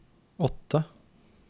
åtte